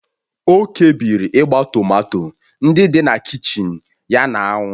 O kpebiri ịgba tomato ndị dị na kichin ya na anwụ